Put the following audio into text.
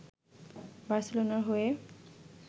বার্সেলোনার হয়ে